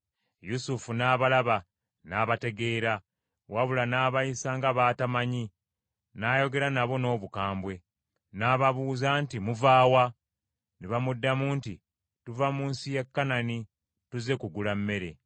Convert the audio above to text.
Yusufu n’abalaba n’abategeera, wabula n’abayisa nga b’atamanyi n’ayogera nabo n’obukambwe. N’ababuuza nti, “Muva wa?” Ne bamuddamu nti, “Tuva mu nsi ya Kanani, tuzze kugula mmere.”